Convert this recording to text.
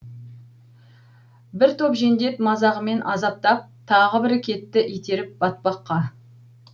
бір топ жендет мазағымен азаптап тағы бірі кетті итеріп батпаққа